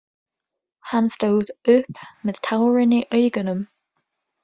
Hann stóð upp með tárin í augunum.